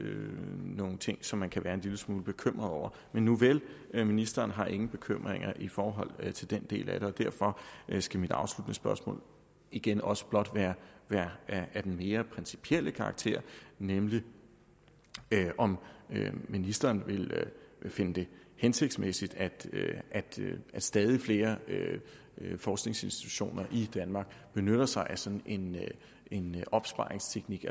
nogle ting som man kan være en lille smule bekymret over nuvel ministeren har ingen bekymringer i forhold til den del af det og derfor skal mit afsluttende spørgsmål igen også blot være af den mere principielle karakter nemlig om ministeren vil finde det hensigtsmæssigt at stadig flere forskningsinstitutioner i danmark benytter sig af sådan en en opsparingsteknik